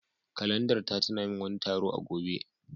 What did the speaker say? Kalandar ta tuna min wani taro a gobe.